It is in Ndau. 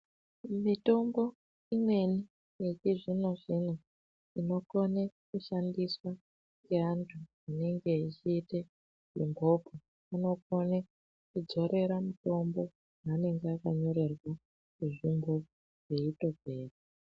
Mitombo imweni yechizvino-zvino, inokone kushandiswa ngeantu anenge echiita mingokwe, unokwanise kujorere mitombo yeanenge akanyorerwawo rutungo rweitopera.